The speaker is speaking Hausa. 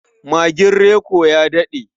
Magin Reko ya daɗe.